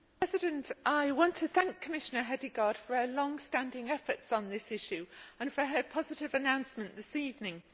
Mr President, I want to thank Commissioner Hedegaard for her long standing efforts on this issue and for her positive announcement this evening.